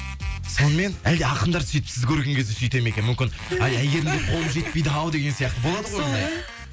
сонымен әлде ақындар сөйтіп сізді көрген кезде сөйтеді ме екен мүмкін әй әйгерімге қолым жетпейді ау деген сияқты болады ғой сол ғой